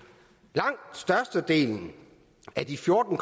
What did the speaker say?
langt størstedelen af de fjorten